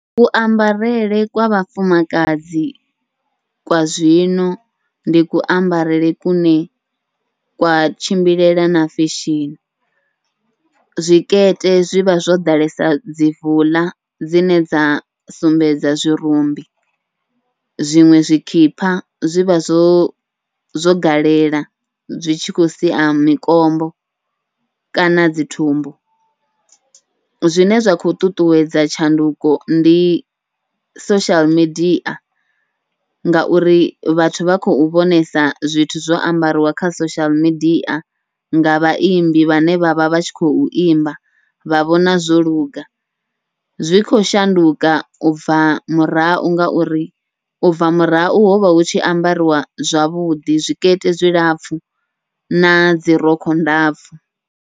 Kuambarele kwa vhafumakadzi kwa zwino ndi ku ambarele kune kwa tshimbilela na feshini, zwikete zwivha zwo ḓalesa dzi vuḽa dzine dza sumbedza zwirumbi zwiṅwe zwikhipha zwivha zwo zwo galela zwi tshi khou sia mikombo kana dzi thumbu, zwine zwa khou ṱuṱuwedza tshanduko ndi social media. Ngauri vhathu vha khou vhonesa zwithu zwo ambariwa kha social media nga vhaimbi vhane vha vha vha tshi khou imba vha vhona zwo luga, zwi khou shanduka ubva murahu ngauri ubva murahu hovha hu tshi ambariwa zwavhuḓi zwikete zwilapfhu nadzi rokho ndapfhu.